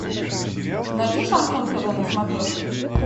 найди шансон тв на смотрешке